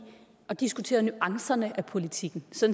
at diskutere nuancerne af politikken så